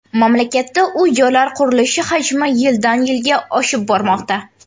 Mamlakatda uy-joylar qurilishi hajmi yildan-yilga oshib bormoqda.